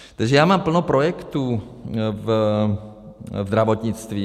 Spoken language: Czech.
Takže já mám plno projektů v zdravotnictví.